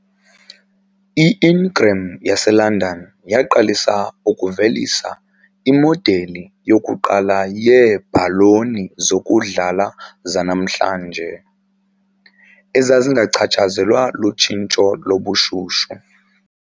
I-Ingram yaseLondon yaqalisa ukuvelisa imodeli yokuqala yeebhaloni zokudlala zanamhlanje, ezazingachatshazelwa lutshintsho lobushushu.